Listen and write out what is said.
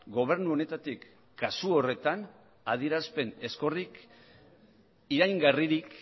gobernu honetatik kasu horretan adierazpen ezkorrik iraingarririk